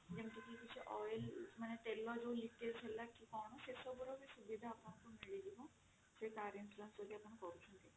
ଯେମିତି କି କିଛି oil ତେଲ କିଛି leakage ହେଲା କି କଣ ସେ ସବୁ ର ସୁବିଧା ବି ଆପଣଙ୍କୁ ମିଳିଯିବା ଯଦି car insurance ଆପଣ କରୁଛନ୍ତି